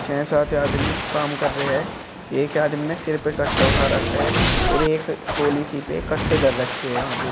छ सात आदमी काम कर रहे हैं एक आदमी ने सिर पे कट्टा उठा रखा है और एक ट्राली सी पे कट्टे धर रखे हैं यहां पे।